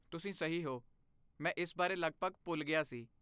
ਤੁਸੀਂ ਸਹੀ ਹੋ, ਮੈਂ ਇਸ ਬਾਰੇ ਲਗਭਗ ਭੁੱਲ ਗਿਆ ਸੀ।